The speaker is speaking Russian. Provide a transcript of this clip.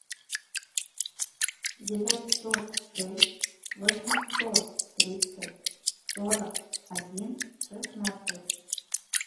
девятьсот шесть восемьсот тридцать сорок один шестнадцать